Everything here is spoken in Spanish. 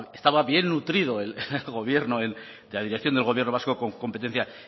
estaba bien nutrido el gobierno la dirección del gobierno vasco con competencia